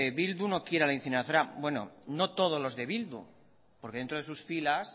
bildu no quiere la incineradora bueno no todos los de bildu porque dentro de sus filas